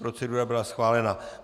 Procedura byla schválena.